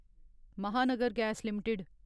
Mahanagar gas limited